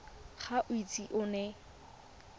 ga o ise o nne